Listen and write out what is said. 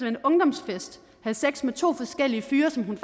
en ungdomsfest havde sex med to forskellige fyre som hun